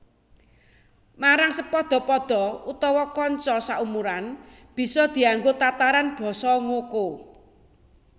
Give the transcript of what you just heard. Marang sepadha padha utawa kanca saumuran bisa dianggo tataran basa ngoko